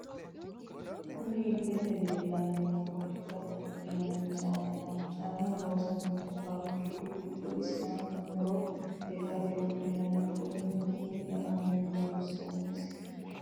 Kunni illete leelani noohu lekkate wodhinanni caamati caamu loosamanohu faabiriku giddoti isi aano horro lekkate wodhinanni qoleno duume qalameni loonsonisi.